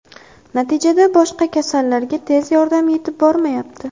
Natijada boshqa kasallarga tez yordam yetib bormayapti.